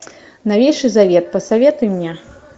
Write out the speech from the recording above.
новейший завет посоветуй мне